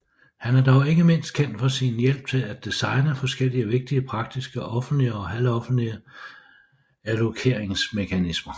Han er dog ikke mindst kendt for sin hjælp til at designe forskellige vigtige praktiske offentlige og halvoffentlige allokeringsmekanismer